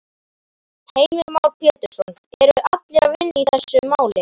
Heimir Már Pétursson: Eru allir að vinna í þessu máli?